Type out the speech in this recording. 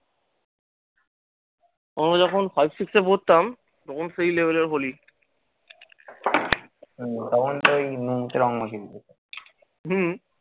আমরা যখন five, six এ পড়তাম তখন সেই level এর holi হম।